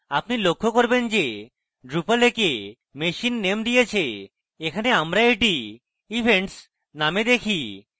আপনি লক্ষ্য করবেন যে drupal একে machine name দিয়েছে এখানে আমরা এটি events named দেখি